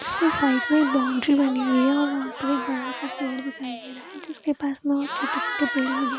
इसके साइड मे बॉउंड्री बनी हुई है और वहाँ पर एक बड़ा-सा पेड़ दिखाई दे रहा है जिसके पास में और छोटे-छोटे पेड़ लगे --